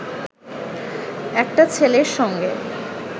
একটা ছেলের সঙ্গে